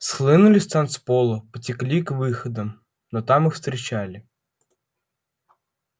схлынули с танцпола потекли к выходам но там их встречали